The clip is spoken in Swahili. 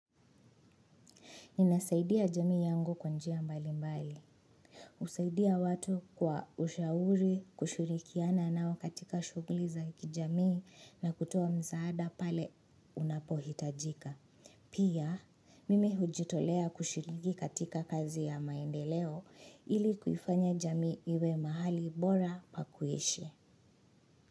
Ninasaidia jamii yangu kwa njia mbali mbali. Usaidia watu kwa ushauri, kushirikiana nao katika shuguli za kijamii na kutowa mzaada pale unapohitajika. Pia, mimi hujitolea kushirigi katika kazi ya maendeleo ili kuifanya jamii iwe mahali bora pakuishi.